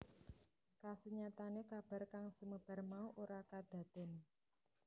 Kasunyatane kabar kang sumebar mau ora kadaden